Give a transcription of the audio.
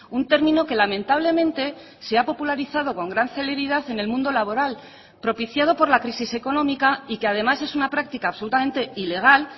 un término que lamentablemente se ha popularizado con gran celeridad en el mundo laboral propiciado por la crisis económica y que además es una práctica absolutamente ilegal